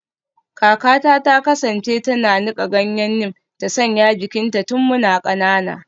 Kakata ta kasance tana nika ganyen neem ta sanya jikinmu tun muna kanana